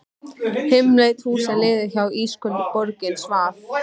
Dimmleit húsin liðu hjá, ísköld borgin svaf.